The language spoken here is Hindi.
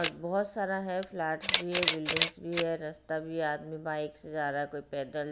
बहुत सारा है फ्लैट्स भी है बिल्डिंग्स भी है रास्ता भी आदमी बाइक से जा रहा है कोई पैदल।